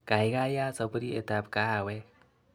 Kaikai yaat sapurietab kahawek.